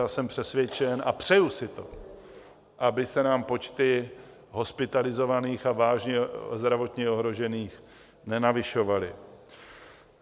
A jsem přesvědčen a přeju si to, aby se nám počty hospitalizovaných a vážně zdravotně ohrožených nenavyšovaly.